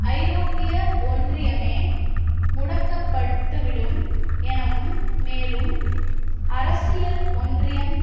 ஐரோப்பிய ஒன்றியமே முடக்கப்பட்டுவிடும் எனவும் மேலும் அரசியல் ஒன்றியம்